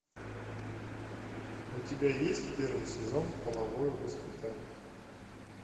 у тебя есть первый сезон половое воспитание